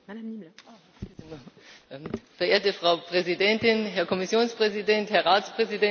Frau Präsidentin, Herr Kommissionspräsident, Herr Ratspräsident, verehrte Kolleginnen, verehrte Kollegen!